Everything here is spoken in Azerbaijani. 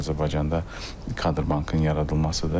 Azərbaycanda kadr bankın yaradılmasıdır.